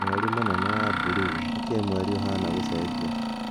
Mweri mũnene wa buruu:Nĩkĩĩ mweri ĩbana gũcejia